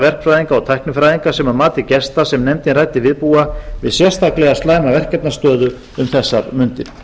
verkfræðinga og tæknifræðinga sem að mati gesta sem nefndin ræddi við búa við sérstaklega slæma verkefnastöðu um þessar mundir